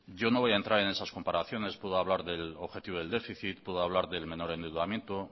yo no voy a entrar en esas comparaciones puedo hablar del objetivo del déficit puedo hablar del menor endeudamiento